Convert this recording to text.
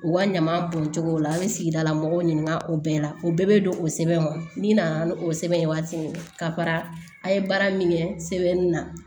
U ka ɲama bɔncogo la an bɛ sigidalamɔgɔw ɲininka o bɛɛ la o bɛɛ bɛ don o sɛbɛn kɔ n'i nana ni o sɛbɛn ye waati min ka baara an ye baara min kɛ sɛbɛnni na